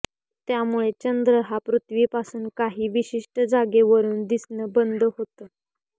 त्यामुळे चंद्र हा पृथ्वीपासून काही विशिष्ट जागेवरून दिसणं बंद होतं